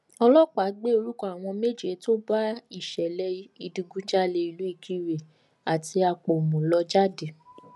ọlọpàá gbé orúkọ àwọn méje tó bá ìṣẹlẹ ìdígunjalè ìlú ìkirè àti àpọmù lọ jáde